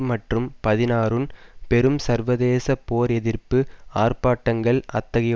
மற்றும் பதினாறுன் பெரும் சர்வதேச போர் எதிர்ப்பு ஆர்ப்பாட்டங்கள் அத்தகைய